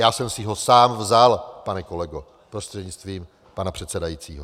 Já jsem si ho sám vzal, pane kolego prostřednictvím pana předsedajícího.